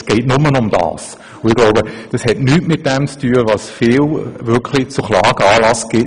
Es hat somit nichts mit der genannten Testerei zu tun, die häufig zu Klagen Anlass gibt.